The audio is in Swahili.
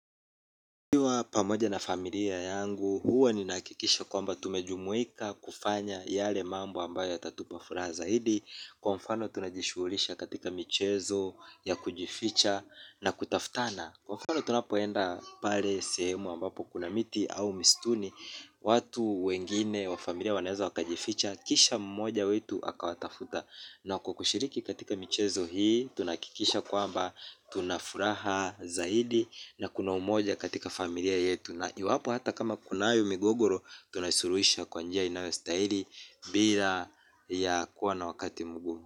Nikiwa pamoja na familia yangu, huwa ni nahakikisha kwamba tumejumuika kufanya yale mambo ambayo yatatupa furaha zaidi. Kwa mfano tunajishulisha katika michezo ya kujificha na kutafutana. Kwa mfano tunapoenda pale sehemu ambapo kuna miti au misituni. Watu wengine wa familia wanaweza wakajificha, kisha mmoja wetu akawatafuta. Na kwa kushiriki katika michezo hii tunakikisha kwamba tunafuraha zaidi na kuna umoja katika familia yetu. Na iwapo hata kama kunayo migogoro tunaisuruhisha kwanjia inayo stahili bila ya kuwa na wakati mgumu.